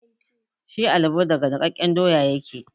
Shi alabo daga nikkaken doya yake.